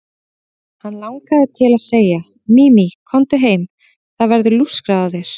Hann langaði til að segja: Mimi, komdu heim, það verður lúskrað á þér.